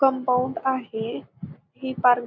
compound आहे ही park --